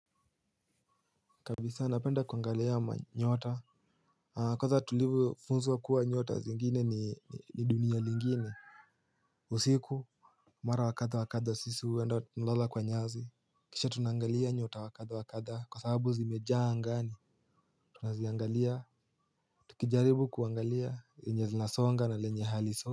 Kabisa napenda kuangalia manyota. Kwanza tulivyofunzwa kuwa nyota zingine ni dunia lingine. Usiku mara wa katha wa katha sisi huenda kulala kwa nyasi. Kisha tunaangalia nyota wa katha wa katha kwa sababu zimejaa angani. Tunaziangalia. Tukijaribu kuangalia lenye zinasonga na lenye haliso.